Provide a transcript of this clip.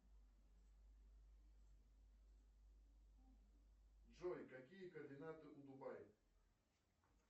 джой какие координаты у дубай